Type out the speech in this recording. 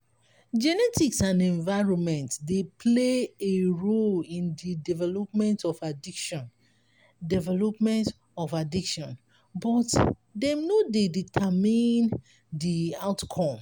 genetics and environment dey play a role in di development of addiction development of addiction but dem no dey determine di outcome.